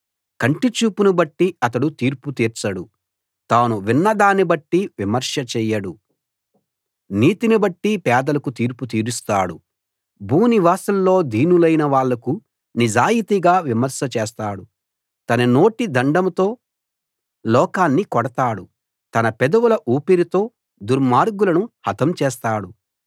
కంటి చూపును బట్టి అతను తీర్పు తీర్చడు తాను విన్న దాన్ని బట్టి విమర్శ చేయడు నీతిని బట్టి పేదలకు తీర్పు తీరుస్తాడు భూనివాసుల్లో దీనులైన వాళ్లకు నిజాయితీగా విమర్శ చేస్తాడు తన నోటి దండంతో లోకాన్ని కొడతాడు తన పెదవుల ఊపిరితో దుర్మార్గులను హతం చేస్తాడు